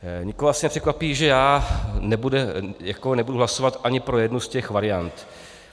Nikoho asi nepřekvapí, že já nebudu hlasovat ani pro jednu z těch variant.